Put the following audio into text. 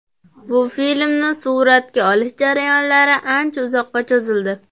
Bu filmni suratga olish jarayonlari ancha uzoqqa cho‘zildi.